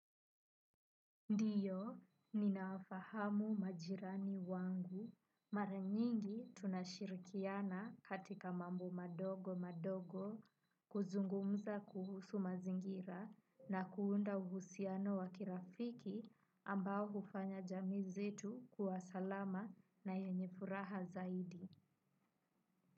Ndiyo, ninafahamu majirani wangu. Mara nyingi tunashirikiana katika mambo madogo madogo, kuzungumza kuhusu mazingira na kuunda uhusiano wa kirafiki ambao hufanya jamii zetu kuwa salama na yenye furaha zaidi.